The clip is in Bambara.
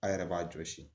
A' yɛrɛ b'a jɔsi